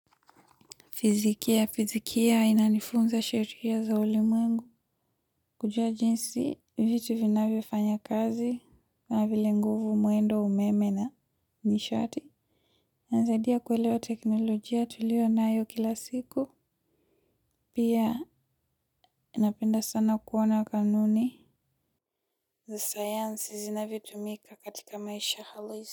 Fizikia, fizikia inanifunza sheria za ulimwengu. Kujua jinsi, vitu vinavyo fanya kazi. Kama vile nguvu mwendo umeme na nishati. Inasaidia kuelewa teknolojia tuliyo nayo kila siku. Pia inapenda sana kuona kanuni. Zasayansi zinavyo tumika katika maisha halisi.